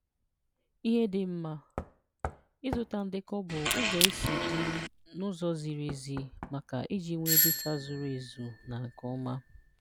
Ihe Dị Mma: Ịzụta ndekọ bụ ụzọ e si dị n'ụzọ ziri ezi, maka iji nwee data zuru ezụ na nke ọma.